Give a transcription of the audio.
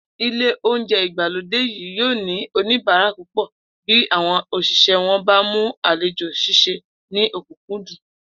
Ilé oúnje̩ ìgbàlódé yìí yóò ní oníbàárà púpò̩ bí àwo̩n òs̩ìs̩é̩ wo̩n bá lè mú àlejò s̩ís̩e ní ò̩kúnkúndùn